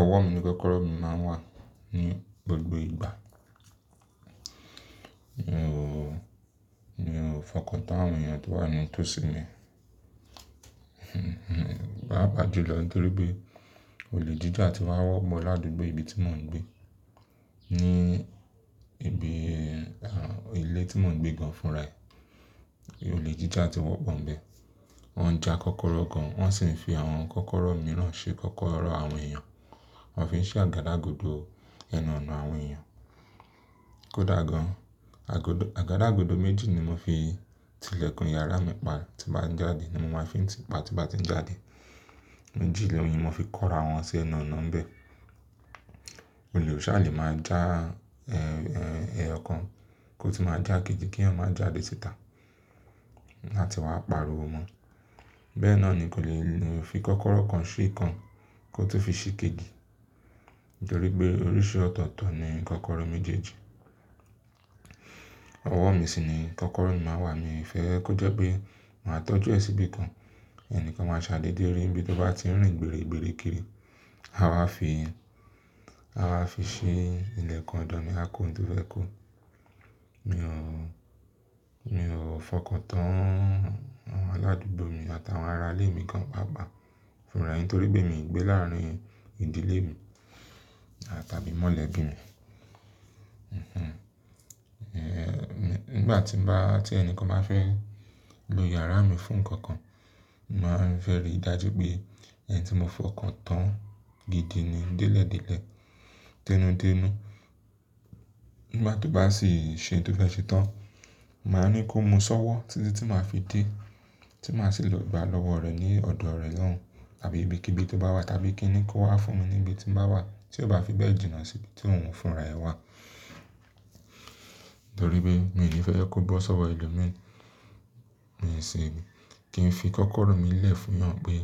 Ọwọ́ mi ní kọ́kọ́rọ́ mi máa ń wà ní gbogbo ìgbà. Mi ò, mi ò fọkàn tán àwọn èèyàn tó wà ní tòsí mi. Pàápàá jùlọ, torí pé olè jíjà ti wá wọ́ pọ̀ ládúgbò ibi tí mò ń gbé. Ní ibi, ilé tí mò ń gbé gan fun ra e, olè jíjà ti wọ́pọ̀ ń bẹ. Wọ́n ń ja kọ́kọ́rọ́ gan, wọ́n sì ń fi àwọn kọ́kọ́rọ́ mìíràn ṣe kọ́kọ́rọ́ àwọn èèyàn. Wọ́n fi ń ṣe àgàdàgodo ẹnu ọ̀nà àwọn èèyàn. Kódà gan, àgodo, àgàdàgodo méjì ni mo fi tilẹ̀kùn yàrá mi pa, tí bá ń jáde ni mo máa ń fi ń tìpa, tí bá ti ń jáde. Méjì ni mo fi kọ́ra àwọn sẹ́ ẹnu ọ̀nà ń bẹ. Olè ò sà lè máa já, ẹ́, ẹ́, ẹyọ kan kó ti máa já kejì kí èèyàn máa jáde síta láti wá paariwo mọn. Bẹ́ẹ̀ náà ni kò lè lè fi kọ́kọ́rọ́ kan sí kan kó tó fi sí kejì. Torí pé oríṣi ọ̀tọ̀ọ̀tọ̀ ni kọ́kọ́rọ́ méjèèjì. Ọwọ́ mi sì ni kọ́kọ́rọ́ mi máa wà. Mi ò fẹ́ kó jẹ́ pé màá tọ́jú ẹ síbí kan. Ẹni kan máa ṣà dédé rí níbi tó bá ti ń rìn gbèré gbèré kiri. A wáa fi, a wáa fi ṣí ilẹ̀kùn ọ̀dọ̀ mi a kó oun tó fẹ́ kó. Mi ò, mi ò fọkàn tán àwọn aládùúgbò mi àtàwọn ara ilé mi gan pàápàá fúnra rẹ̀, torí pé mi ò gbé láàárín ìdílé mi tàbí mọ́lẹ̀bí mi. Nigbà tí bá, tí ẹni kan bá fẹ́ lo yàrá mi fún nǹkan kan, màá ń fẹ́ rí dájú pé ẹni tí mo fọkàn tán gidi ni. Délẹ̀ Délẹ̀, dénú dénú. Nígbà tó bá sì ń ṣe ohun tí ó fẹ́ ṣe tán, màá ní kó mu sọ́wọ́, tí tí màá fi dé, tí màá sì lọ gba lọ́wọ́ rẹ̀ ní ọ̀dọ̀ rẹ̀ lohùn tàbí ibi kí ibi tó bá wà, tàbí kíni kó wá fún mi níbi tí ń bá wà tí ó bá fi bẹ́ẹ̀ jìnnà sí ibi tí ohun fúnra rẹ̀ wà. Torí pé mi ò ní fẹ́ kó bọ́ sọ́wọ́ ẹlòmíràn. Mi ò sì kí n fi kọ́kọ́rọ́ mi lẹ̀ fún'yàn pé,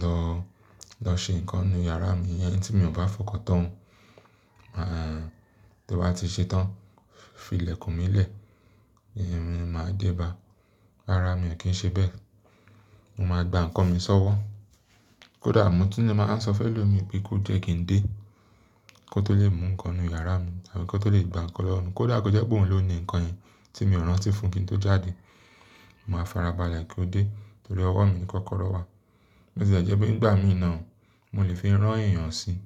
"Lọ, lọ ṣe nǹkan nínú yàrá mi." Ẹni tí mi ò bá fọkàn tán, tí ó bá ti ṣe tán, fi ilẹ̀kùn mi lẹ̀, èmi máa dé bá. Rárá, mi ò kí ń ṣe bẹ́ẹ̀. Mo máa gba nǹkan mi sọ́wọ́. Kódà mo tún màá ń sọ fẹ́ lo mi bí ko jẹ́ kí ń dé, kó tó lè mú nǹkan nínú yàrá mi tàbí kó tó lè gba nǹkan lọ́run. Kódà kó jẹ́ pé òun ló ni nǹkan yẹn tí mi ò rántí fún kí n tó jáde, màá farabalẹ̀ kó dé. Torí ọwọ́ mi ní kọ́kọ́rọ́ wà. Bó ti lẹ̀ jẹ́ pé nígbà mìíràn, mo lè fi rán èèyàn sí i.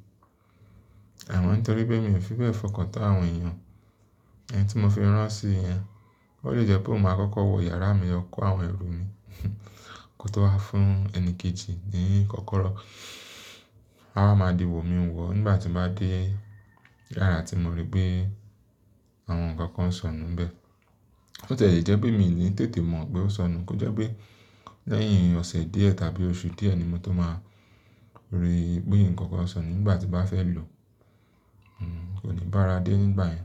Àmọ́ tó rí pé mi ò fi bẹ́ẹ̀ fọkàn tán àwọn èèyàn. Ẹni tí mo fi rán sí i yẹn, ó lè jẹ́ pé òun máa kọ́kọ́ wọ yàrá mi, lọ kó àwọn ẹrù mi, kó tó wá fún ẹni kejì ní kọ́kọ́rọ́. A máa di wò mí wò ọ nígbà tí màá dé yàrá tí mo rí pé àwọn nǹkan kan sọnù ń bẹ. Bó ti lẹ̀ jẹ́ pé mi ò ní tètè mọ̀ pé ó sọnù. Kó jẹ́ pé lẹ́yìn ọ̀sẹ́ díẹ̀ tàbí oṣù díẹ̀ ni mo tó máa ríi pé nǹkan kan sọnù nígbà tí bàá fẹ́ lò, kò ní bá ara dé nígbà yẹn.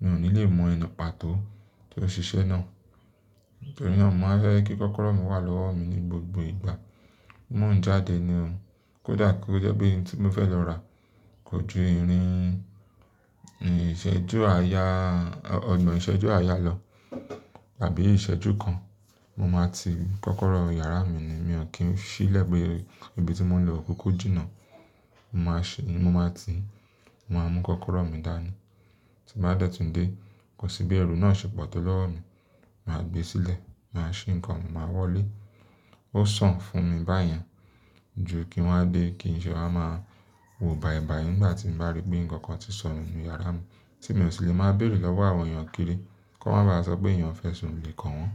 Mi ò ní lè mọ ẹni pa tó, tó ṣiṣẹ́ náà. Nítorí náà, mò ń fẹ́ kí kọ́kọ́rọ́ mi wà lọ́wọ́ mi ní gbogbo ìgbà. Mò ń jáde ni o. Kódà kó jẹ́ pé n tí mò ń fẹ́ lọ rà kò ju ìrín ìṣẹ́jú àyá, ọ̀nà ìṣẹ́jú àyá lọ tàbí ìṣẹ́jú kan, mo máa ti kọ́kọ́rọ́ yàrá mi ni. Mi ò kí ń ṣí péé ibi tí mò ń lọ kò kúkú jìnnà. Mo máa ṣe, mo máa ti, mo máa mú kọ́kọ́rọ́ mi dání. Ti bàá dẹ̀ tún ń dé, kò sí bí ẹrù náà ṣe pọ̀ tó lọ́wọ́ mi. Màá gbé sílẹ̀, màá ṣí nǹkan mi, màá wọlé. Ó sàn fún mi báyẹn ju kí n wá dé kí n ṣẹ̀ wà máa wò bàìbàì nígbà tí bàá rí pé nǹkan kan ti sọnù nínú yàrá mi, tí mi ò sì lè máa béèrè lọ́wọ́ àwọn èèyàn kiri kó má bá sọ pé èèyàn fẹ́ sun olè kan wọn.